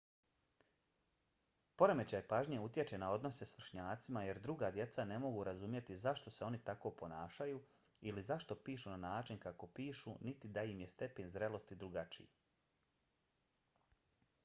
poremećaj pažnje utječe na odnose s vršnjacima jer druga djeca ne mogu razumjeti zašto se oni tako ponašaju ili zašto pišu na način kako pišu niti da im je stepen zrelosti drugačiji